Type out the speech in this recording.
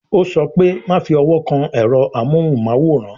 Ó sọ pé "Má fi owó kan ẹ̀rọ amóhùn máwòrán